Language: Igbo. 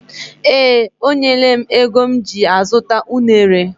Ee, o nyela m ego m ji azuta unere.